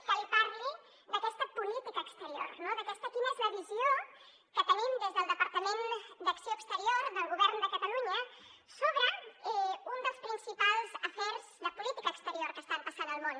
que li parli d’aquesta política exterior de quina és la visió que tenim des del departament d’acció exterior del govern de catalunya sobre un dels principals afers de política exterior que estan passant al món